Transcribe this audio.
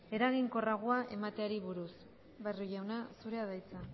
eraginkorragoa emateari buruz barrio jauna zurea da hitza